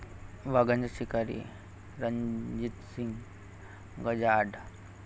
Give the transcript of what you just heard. वाघांचा शिकारी रणजित सिंग गजाआड